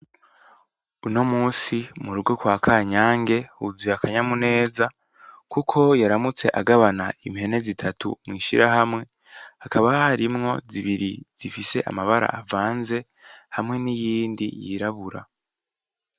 Uno munsi murugo kwa Kanyange huzuye akanyamuneza kuko yaramutse agabana ihene zitatu mw'ishirahamwe hakaba harimo zibiri zifise amabara avanze hamwe niyindi yirabura.